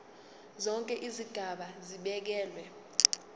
zonke izigaba zibekelwe